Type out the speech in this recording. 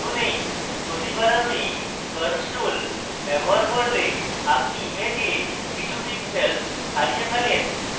প্রতিবার আমি curves tool ব্যবহার করলে আপনি image কিছু pixels হারিয়ে ফেলেন